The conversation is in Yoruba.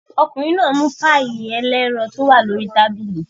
Ọkùnrin náà mú páíì ẹlẹ́ran tó wà lórí tábìlì.